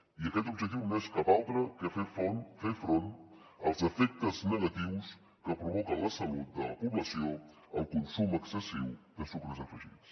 i aquest objectiu no és cap altre que fer front als efectes negatius que provoca en la salut de la població el consum excessiu de sucres afegits